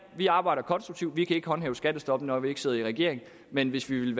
vi arbejder konstruktivt vi kan ikke håndhæve skattestoppet når vi ikke sidder i regering men hvis vi